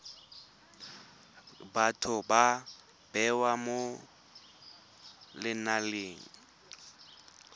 batho ba bewa mo lenaneng